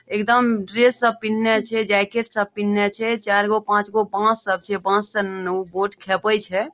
एकदम ड्रेस सब पिनिन्हे छै जैकेट सब पिनिन्हे छै चार गो पांच गो बांस सब छै बांस सबसे बोट सब खेपे छै।